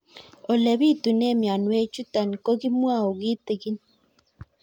Ole pitune mionwek chutok ko kimwau kitig'ín